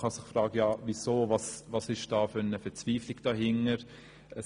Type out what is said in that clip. Man kann sich fragen, welche Verzweiflung dahintersteckt.